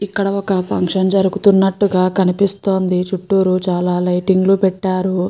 ఇక్కడ ఒక ఫంక్షన్ జరుగుతున్నట్టుగా కనిపిస్తుంది చుట్టూరు చాలా లైటింగ్ లు పెట్టారు.